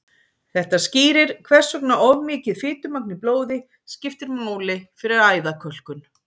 þetta skýrir hvers vegna of mikið fitumagn í blóði skiptir máli fyrir æðakölkun